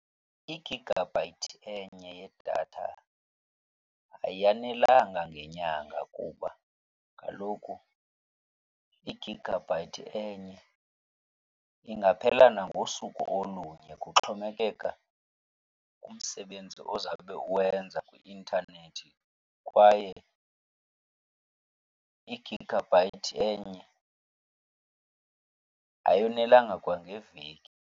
Igigabhayithi enye yedatha ayanelanga ngenyanga kuba kaloku igigabhayithi enye ingaphela nangosuku olunye, kuxhomekeka kumsebenzi ozawube uwenza kwi-intanethi. Kwaye igigabhayithi enye ayonelanga kwangeveki.